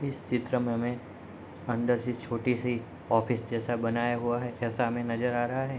इस चित्र में हमें अंदर से छोटी-सी ऑफिस जैसा बनाया हुआ है ऐसा हमें नज़र आ रहा है।